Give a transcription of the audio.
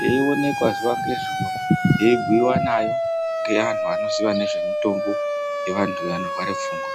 yeionekwa zuwa ngezuwa yeibhuyiwa nayo ngeantu anoziya ngezvemitombo yevantu vanorware pfungwa.